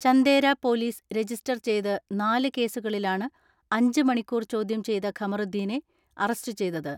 Chandera police register ചെയ്ത് നാല് കേസുകളിലാണ് അഞ്ച് മണിക്കൂർ ചോദ്യം ചെയ്ത ഖമറുദ്ദീനെ അറസ്റ്റു ചെയ്തത്.